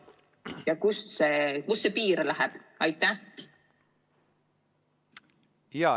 Ja kust see piir läheb?